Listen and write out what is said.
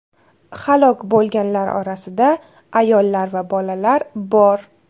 Halok bo‘lganlar orasida ayollar va bolalar bor.